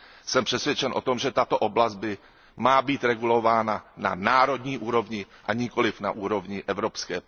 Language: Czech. Jsem přesvědčen o tom, že tato oblast má být regulována na národní úrovni, a nikoliv na úrovni evropské.